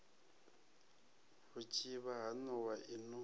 vhutshivha ha nowa i no